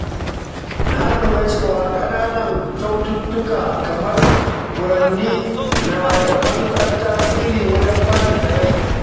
Na lura cewa ƙananan kyaututtuka kamar furanni na da matuƙar tasiri wajen faranta rai.